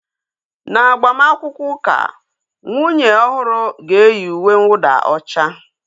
N'agbamakwụkwọ ụka, nwunye ọhụrụ ga-eyi uwe nwụda ọcha